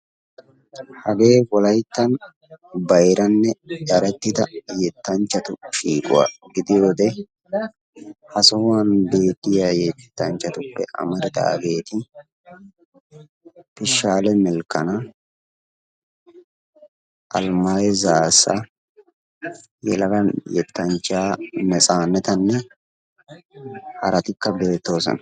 hagee wolayttan bayranne yaynettida yetanchchatu shiiquwa gidiyooge ha sohuwan beetiya yettanchchatuppe amaridaageeti teshaale melkana, almaayu zaassa yelaga yetanchchaa netsanetanne haratikka beetoosona.